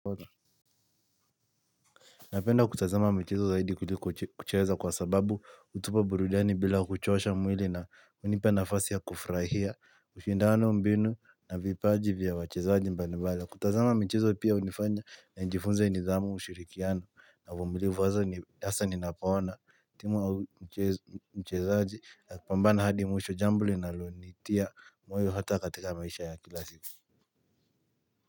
Napenda kutazama michezo zaidi kuliko kucheza kwa sababu hutupa burudiani bila kuchosha mwili na hunipa nafasi ya kufurahia mashindano mbinu na vipaji vya wachezaji mbalimbali, kutazama michezo pia hunifanya na nijifunze nidhamu ushirikiano na uvumulivu hasa ninapawaona timu au mchezaji akipambana hadi mwisho jambo linalonitia moyo hata katika maisha ya kila siku.